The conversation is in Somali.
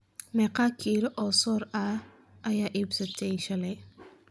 meeqa kilo oo soor ah ayaad iibsatay shaley